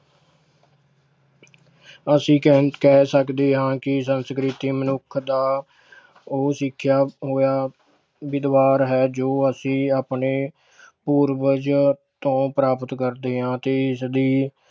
ਅਸੀਂ ਕ~ ਕਹਿ ਸਕਦੇ ਹਾਂ ਕਿ ਸੰਸਕ੍ਰਿਤੀ ਮਨੁੱਖ ਦਾ ਉਹ ਸਿੱਖਿਆ ਹੋਇਆ ਵਿਦਵਾਰ ਹੈ ਜੋ ਅਸੀਂ ਆਪਣੇ ਪੂਰਵਜ ਤੋਂ ਪ੍ਰਾਪਤ ਕਰਦੇ ਹਾਂ ਤੇ ਇਸਦੀ